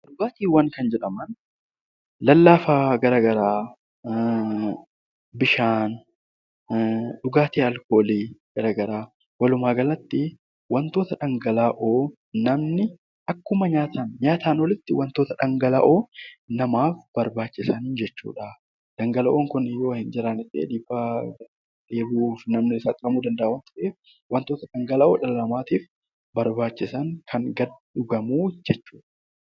Dhugaatiiwwan kan jedhaman lallaafaa garaagaraa bishaan , dhugaatii alkoolii garaagaraa walumaa galatti wantoota dhangala'oo namni nyaataaf olitti kan namaaf barbaachisanidha. Dhangala'oon Kun yoo hin jiran ta'e dheebuuf namni saaxilamuu danda'a waan ta'eef argachuun barbaachisaadha